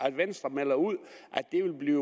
at venstre melder ud at det vil blive